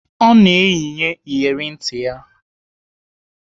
Ọ na-eyinye iyeri ntị ya.